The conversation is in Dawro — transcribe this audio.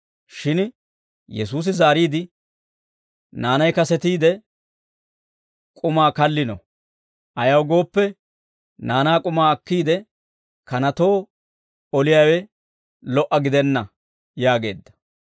Shin Yesuusi zaariide, «Naanay kasetiide k'umaa kallino; ayaw gooppe, naanaa k'umaa akkiide, kanatoo oliyaawe lo"a gidenna» yaageedda.